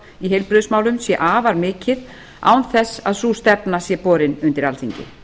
í heilbrigðismálum sé afar mikið án þess að sú stefna sé borin undir alþingi